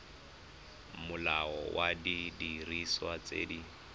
molao wa didiriswa tse di